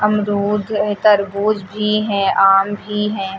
तरबूज भी है आम भी है।